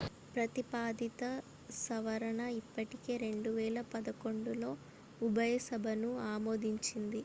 ప్రతిపాదిత సవరణ ఇప్పటికే 2011లో ఉభయ సభలను ఆమోదించింది